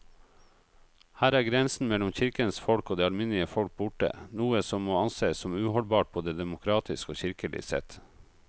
Her er grensen mellom kirkens folk og det alminnelige folk borte, noe som må ansees som uholdbart både demokratisk og kirkelig sett.